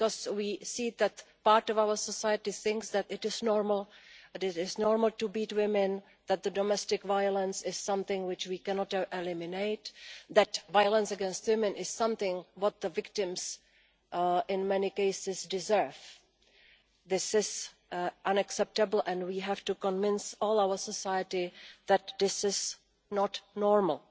We see that part of our society thinks that it is normal to beat women, that domestic violence is something we cannot eliminate, that violence against women is something that the victims in many cases deserve. This is unacceptable and we have to convince all our society that this is not normal.